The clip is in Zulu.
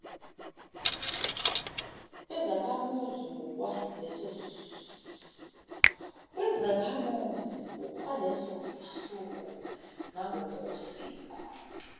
bezakhamuzi ngokwalesahluko nangokosiko